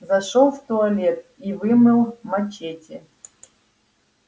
зашёл в туалет и вымыл мачете